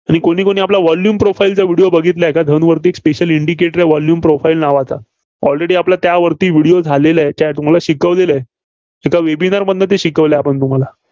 कुणी कुणी आपल्या volume profile चा video बघितला आहे का, धनवरीत एक Special indicator आहे, volume profile नावाचा. Already आपला त्यावरती video झालेला आहे, याच्याआधी. तुम्हाला शिकवलेलं आहे. त्या webinar मधून शिकवलं आहे तुम्हाला.